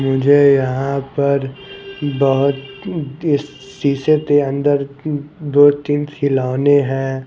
मुझे यहाँ पर बहुत दी स शीशे के अंदर दो-तीन खिलौने हैं ।